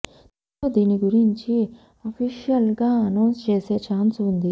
త్వరలో దీని గురించి అఫీషియల్ గా అనౌన్స్ చేసే ఛాన్స్ ఉంది